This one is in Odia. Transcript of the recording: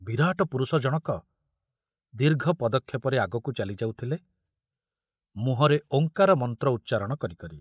ବିରାଟ ପୁରୁଷ ଜଣକ ଦୀର୍ଘ ପଦକ୍ଷେପରେ ଆଗକୁ ଚାଲି ଯାଉଥିଲେ ମୁହଁରେ ଓଁକାର ମନ୍ତ୍ର ଉଚ୍ଚାରଣ କରି କରି।